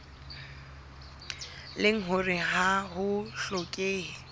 leng hore ha ho hlokehe